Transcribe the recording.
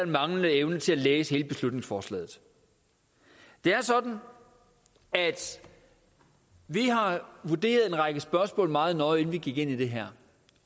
manglende evne til at læse hele beslutningsforslaget det er sådan at vi har vurderet en række spørgsmål meget nøje inden vi gik ind i det her